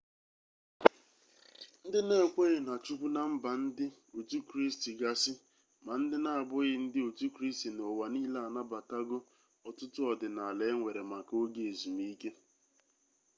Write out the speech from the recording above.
ndi na-ekweghi na chukwu na mba ndi otu kristi gasi ma ndi n'abughi ndi otu kristi n'uwa niile anabatago otutu odinala enwere maka oge ezumike